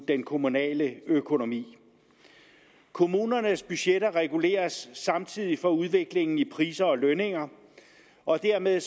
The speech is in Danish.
den kommunale økonomi kommunernes budgetter reguleres samtidig for udviklingen i priser og lønninger og dermed